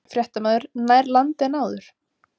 Fréttamaður: Nær landi en áður?